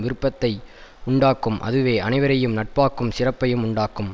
விருப்பத்தையும் உண்டாக்கும் அதுவே அனைவரையும் நட்பாக்கும் சிறப்பையும் உண்டாக்கும்